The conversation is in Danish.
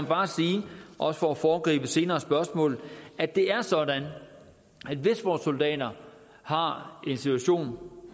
bare sige også for at foregribe senere spørgsmål at det er sådan at hvis vores soldater har en situation